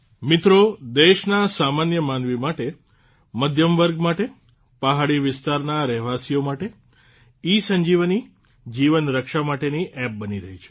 મિત્રો દેશનાં સામાન્ય માનવી માટે મધ્યમ વર્ગ માટે પહાડી વિસ્તારના રહેવાસીઓ માટે ઇસંજીવની જીવન રક્ષા માટેની એપ બની રહી છે